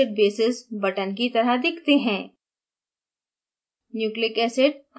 चार nucleic acid bases buttons की तरह दिखते हैं